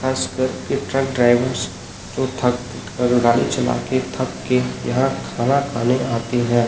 आसपास के truck drivers जो थक कर गाड़ी चला के थक के यहाँ खाना खाने आते है।